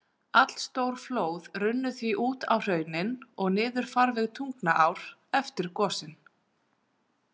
Allstór flóð runnu því út á hraunin og niður farveg Tungnaár eftir gosin.